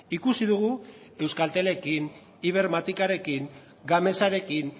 ikusi dugu euskaltelekin ibermatikarekin gamesarekin